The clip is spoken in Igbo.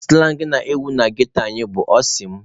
Sụlang na-ewu na ghetto anyị bụ "ọ sị m".